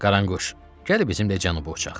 Qaranquş, gəl bizimlə cənuba uçaq.